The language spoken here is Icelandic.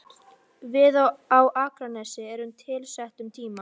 Við komum á Akranes á tilsettum tíma.